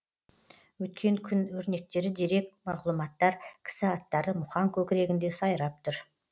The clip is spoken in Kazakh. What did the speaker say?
өткен күн өрнектері дерек мағлұматтар кісі аттары мұхаң көкірегінде сайрап тұр